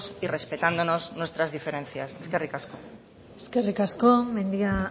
y respetándonos nuestra diferencias eskerrik asko eskerrik asko mendia